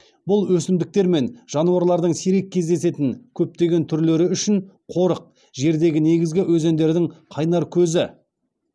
бұл өсімдіктер мен жануарлардың сирек кездесетін көптеген түрлері үшін қорық жердегі негізгі өзендердің қайнар көзі